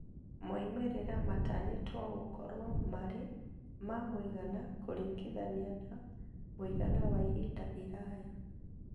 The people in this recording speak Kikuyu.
Maumĩrĩra matanyĩtwo gũkorwo marĩ ma mũigana kũringithania na mũigana wa ihinda iraya